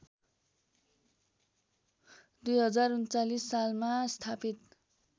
२०३९ सालमा स्थापित